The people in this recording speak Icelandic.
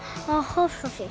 á Hofsósi